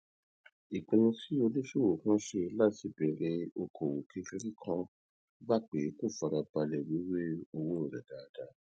ìpinnu tí oníṣòwò kan ṣe láti bèrè okòwò kékeré kan gba pé kó fara balè wéwèé owó rè dáadáa